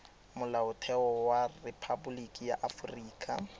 molaotheo wa rephaboliki ya aforika